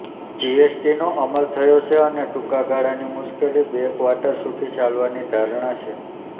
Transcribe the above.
જીએસટીનો અમલ થયો છે અને ટૂંકા ગાળાની મુશ્કેલી બે ક્વાર્ટર સુધી ચાલવાની ધારણા છે